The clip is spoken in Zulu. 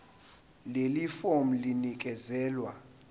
leli fomu linikezelwe